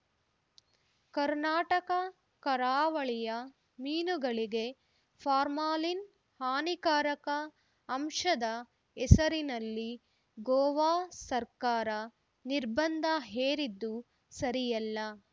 ಕರ್ನಾಟಕ ಕರಾವಳಿಯ ಮೀನುಗಳಿಗೆ ಫಾರ್ಮಾಲಿನ್‌ ಹಾನಿಕಾರಕ ಅಂಶದ ಹೆಸರಿನಲ್ಲಿ ಗೋವಾ ಸರ್ಕಾರ ನಿರ್ಬಂಧ ಹೇರಿದ್ದು ಸರಿಯಲ್ಲ